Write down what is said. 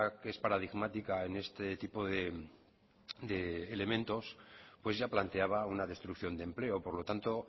que es paradigmática en este tipo de elementos pues ya planteaba una destrucción de empleo por lo tanto